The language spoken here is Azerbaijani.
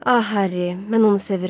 Ah Harry, mən onu sevirəm.